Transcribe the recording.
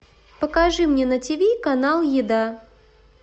покажи мне на тиви канал еда